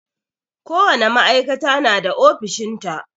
Ko wane ma'aikata na da ofishin ta.